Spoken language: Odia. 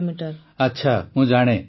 ପ୍ରଧାନମନ୍ତ୍ରୀ ଆଚ୍ଛା ମୁଁ ଜାଣେ